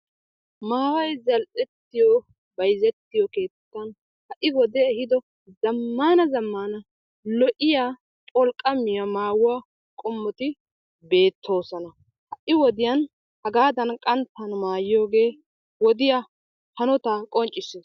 Maayoyi zal'ettiyo bayzettiyo keettan ha'i wodde ehiido zammaana zammaana lo'iyaa pholqqamiya maayuwaa qommotti beettosonna. Ha'i wodiyaani hagaddan qanttan maayiyogge wodiyaa hanotta qoncissrs.